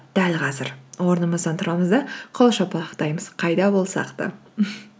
дәл қазір орнымыздан тұрамыз да қол шапалақтаймыз қайда болсақ та